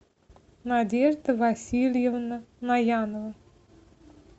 надежда васильевна наянова